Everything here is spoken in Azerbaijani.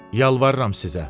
Yalvarıram sizə.